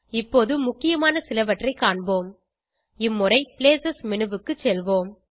இப்போது முக்கியமான சிலவற்றைக் காண்போம் இம்முறை பிளேஸ் மேனு க்கு செல்வோம்